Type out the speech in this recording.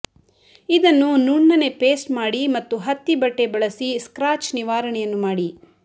ಇದನ್ನು ನುಣ್ಣನೆ ಪೇಸ್ಟ್ ಮಾಡಿ ಮತ್ತು ಹತ್ತಿ ಬಟ್ಟೆ ಬಳಸಿ ಸ್ಕ್ರಾಚ್ ನಿವಾರಣೆಯನ್ನು ಮಾಡಿ